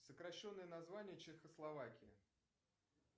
сокращенное название чехословакии